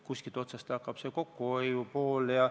Kuskilt otsast peab kokkuhoid pihta hakkama.